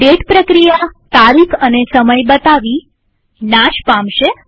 date પ્રક્રિયા તારીખ અને સમય બતાવી અને નાશ પામશે